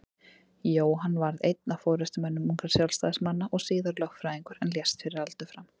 Jóhann varð einn af forystumönnum ungra Sjálfstæðismanna og síðar lögfræðingur en lést fyrir aldur fram.